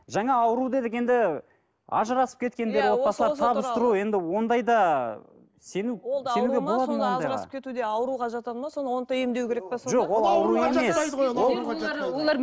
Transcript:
жаңа ауру дедік енді ажырасып кеткендер отбасылар табыстыру енді ондайда сену ауруға жатады ма оны да емдеу керек пе сонда